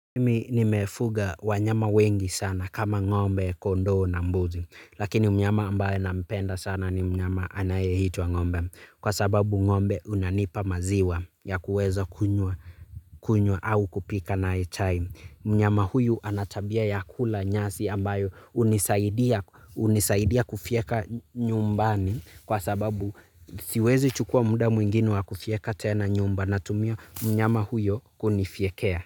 Nimi nimefuga wanyama wengi sana kama ng'ombe, kondoo na mbuzi. Lakini mnyama ambaye nampenda sana ni mnyama anayeitwa ng'ombe. Kwa sababu ng'ombe unanipa maziwa ya kuweza kunywa au kupika nae chai. Mnyama huyu ana tabia ya kula nyasi ambayo hunisaidia kufyeka nyumbani. Kwa sababu siwezi chukua muda mwingine wa kufyeka tena nyumba natumia mnyama huyo kunifyekea.